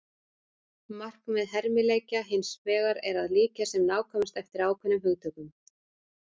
markmið hermileikja hins vegar er að líkja sem nákvæmast eftir ákveðnum hugtökum